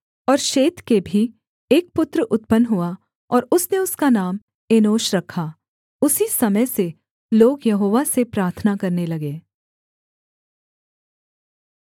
और शेत के भी एक पुत्र उत्पन्न हुआ और उसने उसका नाम एनोश रखा उसी समय से लोग यहोवा से प्रार्थना करने लगे